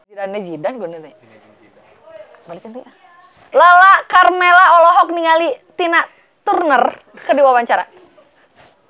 Lala Karmela olohok ningali Tina Turner keur diwawancara